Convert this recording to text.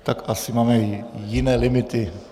Tak asi máme jiné limity.